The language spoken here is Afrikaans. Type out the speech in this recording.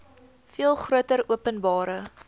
veel groter openbare